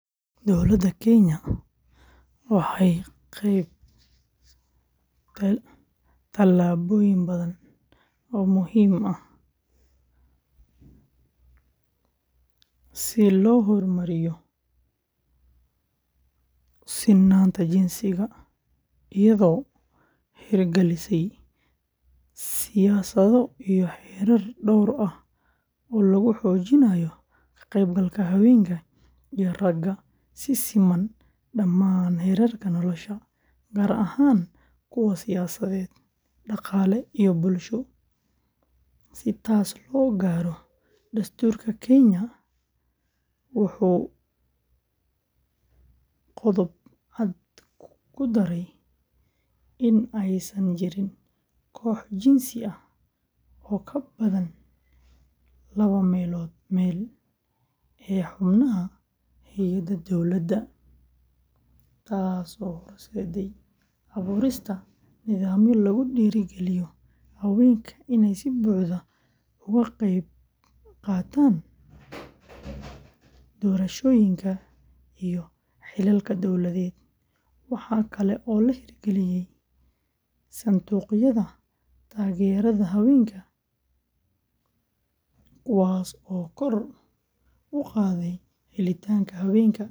Dowladda Kenya waxay qaaday tallaabooyin badan oo muhiim ah si loo horumariyo sinnaanta jinsiga, iyadoo hirgalisay siyaasado iyo xeerar dhowr ah oo lagu xoojinayo ka qaybgalka haweenka iyo ragga si siman dhammaan heerarka nolosha, gaar ahaan kuwa siyaasadeed, dhaqaale, iyo bulsho. Si taas loo gaaro, dastuurka Kenya ee wuxuu qodob cad ku daray in aysan jirin koox jinsi ah oo ka badan laba meelood meel ee xubnaha hay’adaha dawladda, taasoo horseeday abuurista nidaamyo lagu dhiirrigeliyo haweenka inay si buuxda uga qaybqaataan doorashooyinka iyo xilalka dawladeed. Waxa kale oo la hirgaliyay sanduuqyada taageerada haweenka kuwaasoo kor u qaaday helitaanka haweenka ee fursadaha dhaqaalaha.